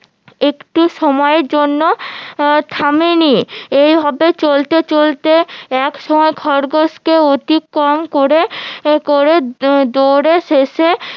একটু সময় জন্য থামেনি এইভাবে চলতে চলতে একসময় খরগোশকে অতিক্রম করে করে দৌড়ে শেষে